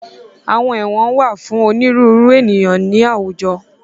Àwọn Ẹwọ̀n wà fún onírúurú ènìyàn ní àwùjọ.